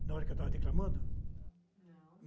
Na hora que eu estava declamando?